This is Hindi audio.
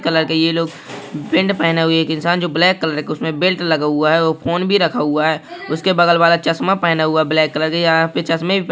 कलर का ये लोग पैंट पहना हुआ एक इंसान जो ब्लैक कलर का उसमे बेल्ट लगा हुआ है और फोन भी रखा हुआ है उसके बगल वाला चश्मा पहना हुआ ब्लैक कलर यहाँ पे चश्मे--